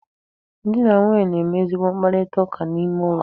Di na nwunye na-eme ezigbo mkparitaụka n'ime ụlọ.